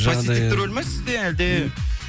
позитивті рөл ме сізде әлде